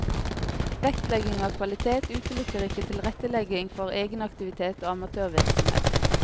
Vektlegging av kvalitet utelukker ikke tilrettelegging for egenaktivitet og amatørvirksomhet.